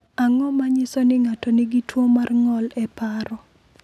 Ang’o ma nyiso ni ng’ato nigi tuwo mar ng’ol e paro?